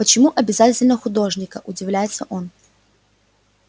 почему обязательно художника удивляется он